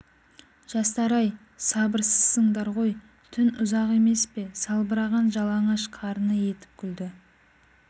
жастар-ай сабырсызсыңдар ғой түн ұзақ емес пе салбыраған жалаңаш қарыны етіп күлді